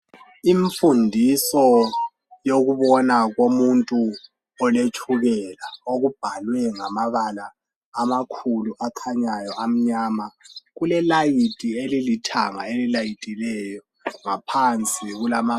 Imfundiso yokubona komuntu oletshukela kubhaliwe nagamabala amakhulu akhanyayo amnyama. Kule layithi elilithanga elilayithileyo ngaphansi kulama